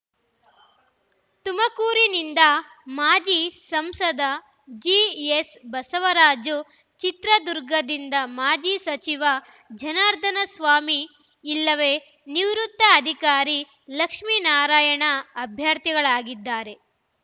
ತುಮಕೂರಿನಿಂದ ಮಾಜಿ ಸಂಸದ ಜಿಎಸ್ ಬಸವರಾಜು ಚಿತ್ರದುರ್ಗದಿಂದ ಮಾಜಿ ಸಚಿವ ಜನಾರ್ಧನಸ್ವಾಮಿ ಇಲ್ಲವೆ ನಿವೃತ್ತ ಅಧಿಕಾರಿ ಲಕ್ಷ್ಮಿನಾರಾಯಣ ಅಭ್ಯರ್ಥಿಗಳಾಗಲಿದ್ದಾರೆ